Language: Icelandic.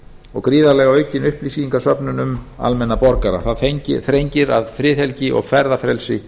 og gríðarlega aukin upplýsingasöfnun um almenna borgara það þrengir að friðhelgi og ferðafrelsi